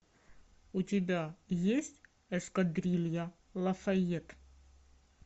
у тебя есть эскадрилья лафайет